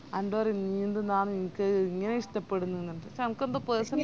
എന്നൊട് പറയും ഇഞ്ഞി എന്തിന്നാന്ന് ഇനിക്ക് എങ്ങനെ ഇഷ്‌ട്ടപ്പെടുന്നന്ന് പഷേ എനക്കെന്തൊ personally